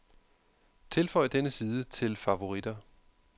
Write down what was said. Tilføj denne side til favoritter.